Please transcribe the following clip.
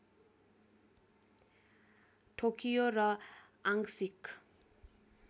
ठोक्कियो र आंशिक